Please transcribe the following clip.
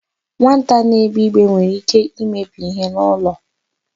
Nwata na-egbe igbe nwere íké imebi íhé n'ụlọ.